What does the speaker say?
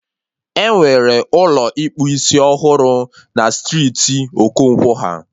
Enwere Ụlọ ịkpụ isiọhụrụ na striiti Okonkwo ha